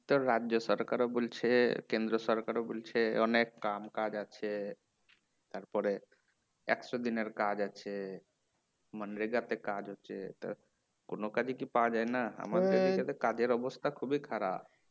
তোর রাজ্য সরকার বলছে কেন্দ্র সরকারও বলছে অনেক কাম কাজ আছে তারপরে একশো দিনের কাজ আছে মানে labour দের কাজ হচ্ছে কোনো কাজই কি পাওয়া যায়না আমাদের এদিকে তো কাজের অবস্থা খুবই খারাপ